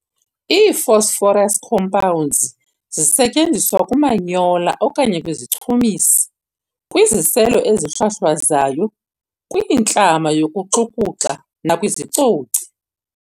Ii-phosphorus compounds zisetyenziswa kumanyola okanye kwizichumisi, kwiziselo ezihlwahlwazayo, kwintlama yokuxukuxa, nakwiizicoci.